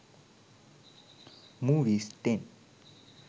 movies 10